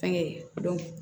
Fɛnkɛ